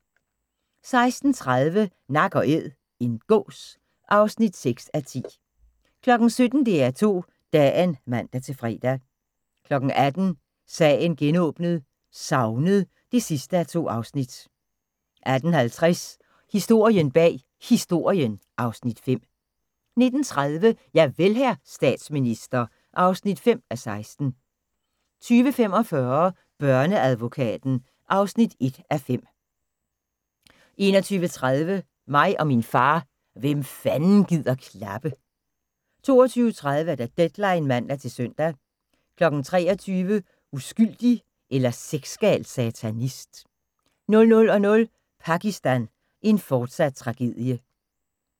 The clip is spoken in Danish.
16:30: Nak & æd - en gås (6:10) 17:00: DR2 Dagen (man-fre) 18:00: Sagen genåbnet: Savnet (2:2) 18:50: Historien bag Historien (Afs. 5) 19:30: Javel, hr. statsminister (5:16) 20:45: Børneadvokaten (1:5) 21:30: Mig og min far – hvem fanden gider klappe? 22:30: Deadline (man-søn) 23:00: Uskyldig eller sexgal satanist? 00:00: Pakistan – en fortsat tragedie